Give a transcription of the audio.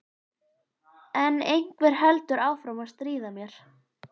En einhver heldur áfram að stríða mér